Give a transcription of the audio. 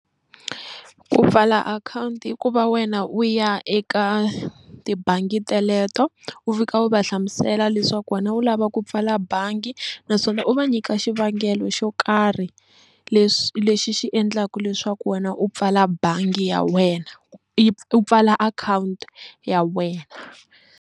Ku pfala akhawunti i ku va wena u ya eka tibangi teleto u fika u va hlamusela leswaku wena u lava ku pfala bangi naswona u u va nyika xivangelo xo karhi leswi lexi xi endlaka leswaku wena u pfala bangi ya wena u pfala akhawunti ya wena.